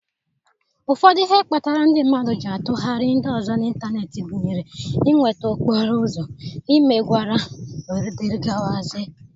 Ụfọdụ ihe kpatara ndị mmadụ ji atụgharị ndị ọzọ n'ịntanetị gụnyere inweta okporo ụzọ, imegwara, wdg.